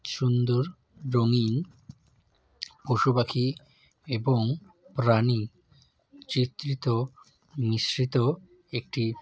সুন্দর রঙিন পশুপাখি এবং প্রাণী চিত্রিত মিশ্রিত একটি --